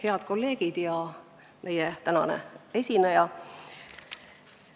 Head kolleegid ja meie tänane esineja!